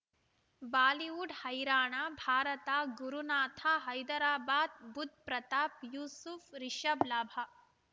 Bollywood ಹೈರಾಣ ಭಾರತ ಗುರುನಾಥ ಹೈದರಾಬಾದ್ ಬುಧ್ ಪ್ರತಾಪ್ ಯೂಸುಫ್ ರಿಷಬ್ ಲಾಭ